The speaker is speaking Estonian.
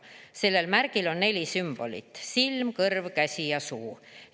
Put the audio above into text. Sellel märgil on neli sümbolit: silm, kõrv, käsi ja suu.